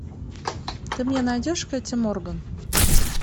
ты мне найдешь кэти морган